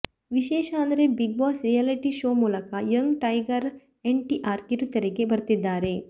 ವಿಶೇಷ ಅಂದ್ರೆ big boss reality show ಮೂಲಕ ಯಂಗ್ ಟೈಗರ್ ಎನ್ಟಿಆರ್ ಕಿರುತೆರೆಗೆ ಬರ್ತಿದ್ದಾರೆ